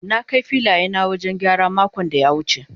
na Kai filaya na wajen gyara makon da ya wuce.